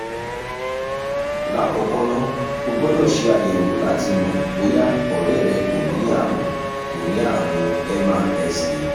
lákọ̀ọ́kọ́ ná o gbọ́dọ̀ ṣe àyẹ̀wò láti mọ̀ bóyá ọ̀rẹ́ rẹ kò ní àrùn kò ní àrùn mrsa